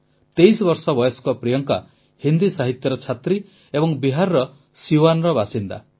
23 ବର୍ଷ ବୟସ୍କ ପ୍ରିୟଙ୍କା ହିନ୍ଦୀ ସାହିତ୍ୟର ଛାତ୍ରୀ ଏବଂ ବିହାରର ସିୱାନ୍ର ବାସିନ୍ଦା